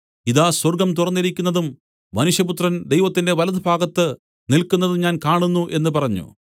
ഇതാ സ്വർഗ്ഗം തുറന്നിരിക്കുന്നതും മനുഷ്യപുത്രൻ ദൈവത്തിന്റെ വലത്തുഭാഗത്ത് നില്ക്കുന്നതും ഞാൻ കാണുന്നു എന്ന് പറഞ്ഞു